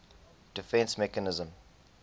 defence mechanism